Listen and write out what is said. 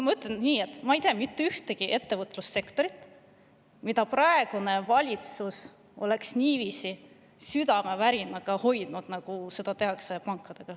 Ma ei tea mitte ühtegi ettevõtlussektorit, mida praegune valitsus oleks niiviisi südamevärinaga hoidnud, nagu hoitakse panku.